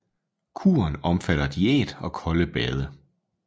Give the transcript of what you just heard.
Kuren omfatter diæt og kolde bade